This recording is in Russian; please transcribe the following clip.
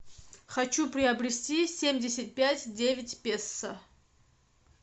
хочу приобрести семьдесят пять девять песо